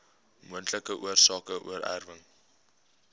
moontlike oorsake oorerwing